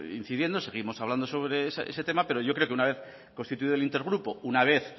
incidiendo seguimos hablando sobre ese tema pero yo creo que una vez constituido el intergrupo una vez